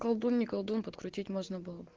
колдун не колдун подкрутить можно было бы